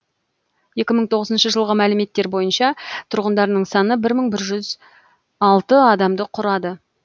екі мың тоғызыншы жылғы мәліметтер бойынша тұрғындарының саны бір мың бір жүз алты адамды құрады